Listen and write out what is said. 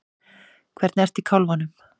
Hvernig ertu í kálfanum?